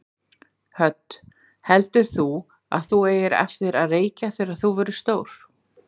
Hödd: Heldur þú að þú eigir eftir að reykja þegar þú verður stór?